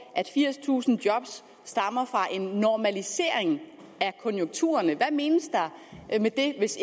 at firstusind job stammer fra en normalisering af konjunkturerne hvad menes der med det hvis